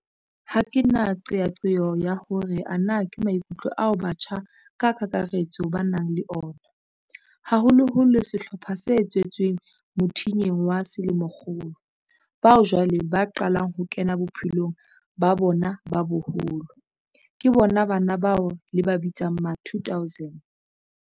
Ha ke na qeaqeo ya hore ana ke maikutlo ao batjha ka kakaretso ba nang le ona, haholoholo sehlopha se tswetsweng mothinyeng wa selemokgolo, bao jwale ba qalang ho kena bophelong ba bona ba boholo, ke bona bana bao le ba bitsang ma-2000.